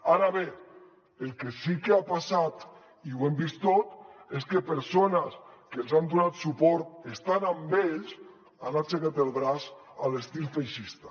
ara bé el que sí que ha passat i ho hem vist tots és que persones que els han donat suport estan amb ells han aixecat el braç a l’estil feixista